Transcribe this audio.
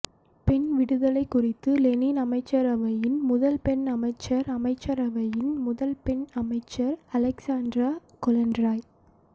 பெண் விடுதலை குறித்து லெனின் அமைச்சரவையின் முதல் பெண் அமைச்சர் அமைச்சரவையின் முதல் பெண் அமைச்சர் அலெக்சாண்டிரா கொலென்ரெய்